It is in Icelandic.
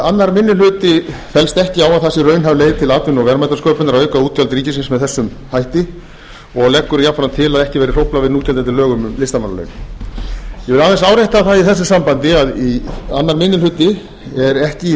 annar minni hluti fellst ekki á að það sé raunhæf leið til atvinnu og verðmætasköpunar að auka útgjöld ríkisins með þessum hætti annar minni hluti leggur til að ekki verði hróflað við núgildandi lögum um listamannalaun ég vil aðeins árétta það í þessu sambandi að annar minni hluti er ekki í